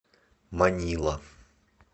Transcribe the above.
манила